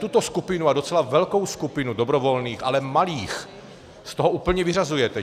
Tuto skupinu, a docela velkou skupinu, dobrovolných, ale malých z toho úplně vyřazujete.